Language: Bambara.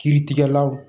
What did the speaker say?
Kiiritigɛlaw